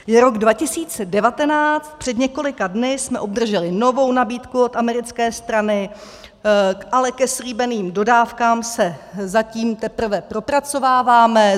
Je rok 2019, před několika dny jsme obdrželi novou nabídku od americké strany, ale ke slíbeným dodávkám se zatím teprve propracováváme.